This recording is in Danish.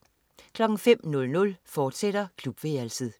05.00 Klubværelset, fortsat